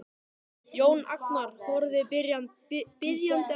Jón Agnar horfir biðjandi á hann.